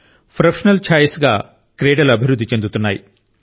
professional ఛాయిస్గా క్రీడలు అభివృద్ధి చెందుతున్నాయి